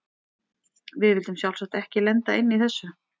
Við vildum sjálfsagt ekki lenda inni í þessu!